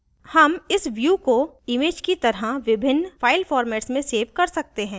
हम इस we को image की तरह विभिन्न file formats में सेव कर सकते हैं